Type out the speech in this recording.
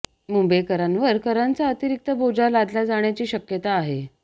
मुंबईकरांवर करांचा अतिरिक्त बोजा लादला जाण्याची शक्यता आहे